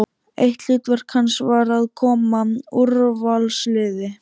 Eitt hlutverk hans var að koma úrvalsliði